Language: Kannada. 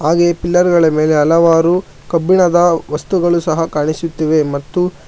ಹಾಗೆ ಪಿಲ್ಲರ್ ಗಳ ಮೇಲೆ ಹಲವಾರು ಕಬ್ಬಿಣದ ವಸ್ತುಗಳು ಸಹ ಕಾಣಿಸುತ್ತಿವೆ ಮತ್ತು--